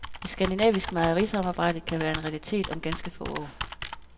Et skandinavisk mejerisamarbejde kan være en realitet om ganske få år.